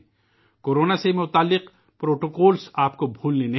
آپ کورونا سے متعلق پروٹوکول کو فراموش نہ کریں